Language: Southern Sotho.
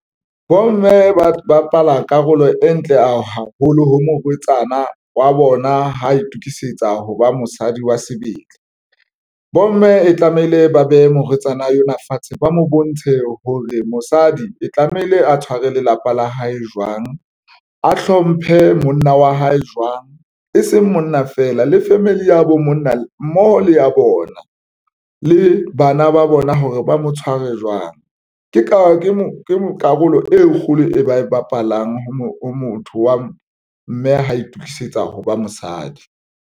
Bomme ba bapala karolo e ntle a haholo ho morwetsana wa bona ha itukisetsa hoba mosadi wa sebele bomme e tlamehile ba behe morwetsana yona fatshe, ba mo bontshe hore mosadi e tlamehile a tshware lelapa la hae jwang, a hlomphe monna wa hae jwang, e seng monna fela le family ya bo monna mmoho le ya bona le bana ba bona hore ba mo tshware jwang. Ke ka ke mo karolo e kgolo e ba e bapalang ho motho wa mme ha itukisetsa ho ba mosadi.